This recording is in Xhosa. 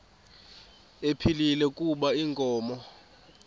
ephilile kuba inkomo